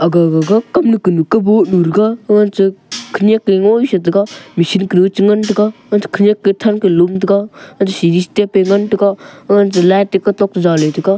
aga gaga kamnu kanu kaboh nurega amanchak khenyak ngoai chetega machine kuru chengan taiga anchak khenyak kethang kalom taiga anch seri step e ngan taiga ancheh light e kutok to jaley taiga.